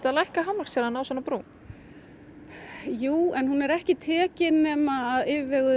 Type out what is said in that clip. að lækka hámarkshraðann á svona brúm jú en hún er ekki tekin nema af yfirvegun